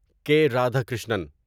کے رادھاکرشنن